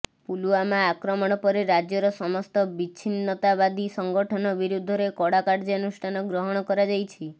ପୁଲଓ୍ୱାମା ଆକ୍ରମଣ ପରେ ରାଜ୍ୟର ସମସ୍ତ ବିଚ୍ଛିନ୍ନତାବାଦୀ ସଂଗଠନ ବିରୁଦ୍ଧରେ କଡ଼ା କାର୍ଯ୍ୟାନୁଷ୍ଠାନ ଗ୍ରହଣ କରାଯାଇଛି